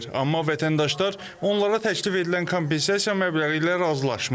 Amma vətəndaşlar onlara təklif edilən kompensasiya məbləği ilə razılaşmır.